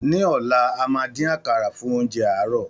Ní ọlá, a máa dín àkàrà, fún oúnjẹ àárọ̀.